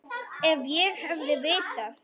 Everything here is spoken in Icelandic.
Ef ég hefði vitað.